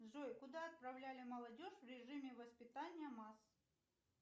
джой куда отправляли молодежь в режиме воспитания масс